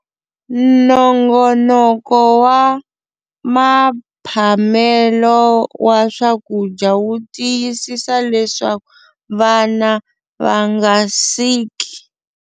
Nongonoko wa mphamelo wa swakudya wu tiyisisa leswaku vana va nga siki.